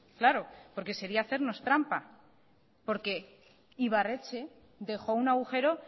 claro porque sería hacernos trampa porque ibarretxe dejó un agujero